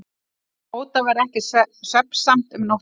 Tóta varð ekki svefnsamt um nóttina.